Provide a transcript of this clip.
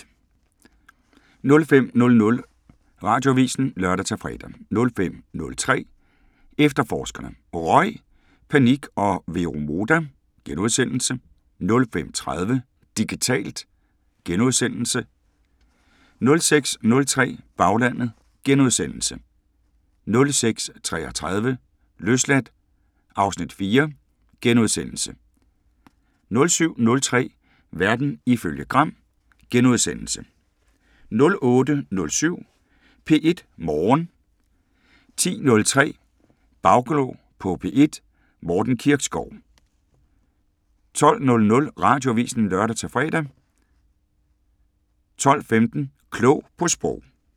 05:00: Radioavisen (lør-fre) 05:03: Efterforskerne: Røg, panik og Vero Moda * 05:30: Digitalt * 06:03: Baglandet * 06:33: Løsladt (Afs. 4)* 07:03: Verden ifølge Gram * 08:07: P1 Morgen 10:03: Bagklog på P1: Morten Kirkskov 12:00: Radioavisen (lør-fre) 12:15: Klog på Sprog